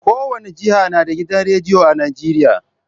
Kowane jiha na da gidan rediyo a Nijeriya.